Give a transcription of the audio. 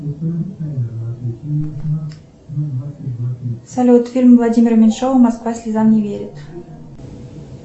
салют фильм владимира меньшова москва слезам не верит